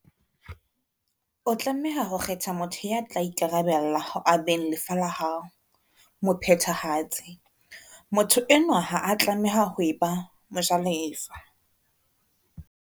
O tlameha ho kgetha motho ya tla ikarabella ho abeng lefa la hao mophethahatsi. Motho enwa ha a tlameha ho e ba mojalefa.